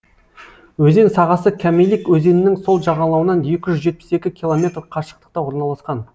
өзен сағасы камелик өзенінің сол жағалауынан екі жүз жетпіс екі километр қашықтықта орналасқан